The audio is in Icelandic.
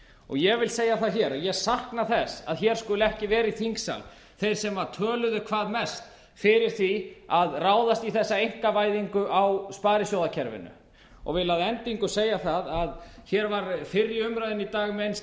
ég vil segja það hér að ég sakna þess að hér skuli ekki vera í þingsal þeir sem töluðu hvað mest fyrir því að ráðast í þessa einkavæðingu á sparisjóðakerfinu og vil að endingu segja það að hér var fyrr í umræðunni í dag minnst